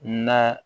Na